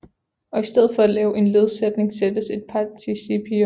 Og i stedet for at lave en ledsætning sættes et participium